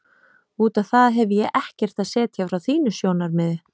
Út á það hefi ég ekkert að setja frá þínu sjónarmiði.